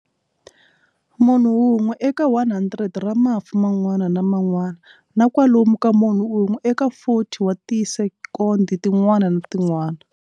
Munhu un'we eka 100 ra mafu man'wana na man'wana na kwalomu ka munhu un'we eka 40 wa tisekondi tin'wana na tin'wana.